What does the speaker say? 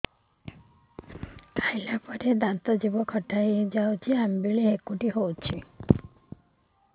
ଖାଇଲା ପରେ ଦାନ୍ତ ଜିଭ ଖଟା ହେଇଯାଉଛି ଅମ୍ଳ ଡ଼ୁକରି ହଉଛି